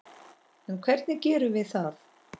En hvernig gerum við það?